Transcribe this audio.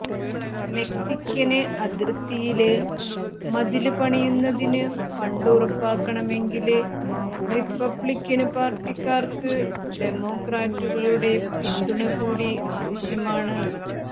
Mexican അതിര്ത്തിയില് മതില് പണിയുന്നതിന് ഫണ്ട് ഉറപ്പാക്കണമെങ്കില് റിപ്പബ്ലിക്കന് പാര്ട്ടിക്കാര്ക്ക് ഡെമോക്രാറ്റുകളുടെ പിന്തുണ കൂടി ആവശ്യമാണ്